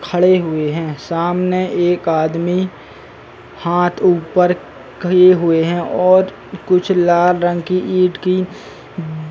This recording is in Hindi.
खड़े हुए हैं। सामने एक आदमी हाथ ऊपर किए हुए हैं और कुछ लाल रंग कि ईट की --